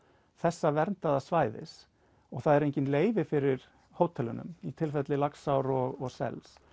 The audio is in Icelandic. þessa verndaða svæðis og það eru engin leyfi fyrir hótelum í tilfelli Laxár og sels